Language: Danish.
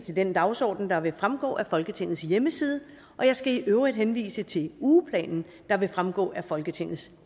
til den dagsorden der vil fremgå af folketingets hjemmeside og jeg skal i øvrigt henvise til ugeplanen der vil fremgå af folketingets